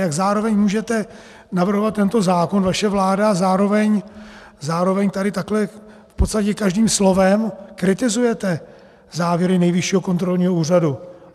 Jak zároveň můžete navrhovat tento zákon, vaše vláda, a zároveň tady takhle v podstatě každým slovem kritizujete závěry Nejvyššího kontrolního úřadu?